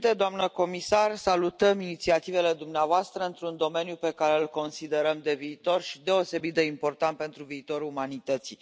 Domnule președinte, doamnă comisar, salutăm inițiativele dumneavoastră într un domeniu pe care îl considerăm de viitor și deosebit de important pentru viitorul umanității.